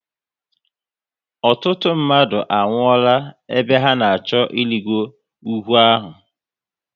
Ọtụtụ mmadụ a nwuola ebe ha na achọ ịrigo ugwu ahụ